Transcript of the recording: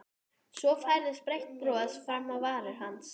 Svo færðist breitt bros fram á varir hans.